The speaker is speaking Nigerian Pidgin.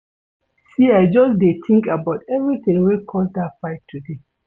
See I just dey tink about everytin wey cause dat fight today.